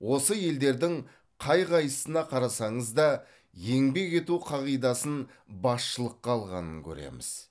осы елдердің қай қайсысына қарасаңыз да еңбек ету қағидасын басшылыққа алғанын көреміз